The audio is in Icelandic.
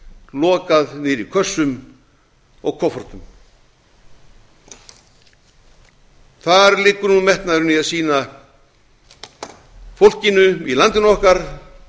lokað niðri í kössum og koffortum hvar liggur nú metnaðurinn í að sýna fólkinu í landinu okkar